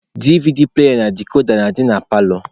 DVD pụlaya na dikoda na-adị na paalọ.